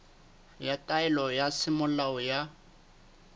ya taelo ya semolao ya